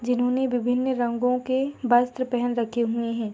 जिन्होंने विभिन रंगो के वस्त्र पहन रखे हुए हैं।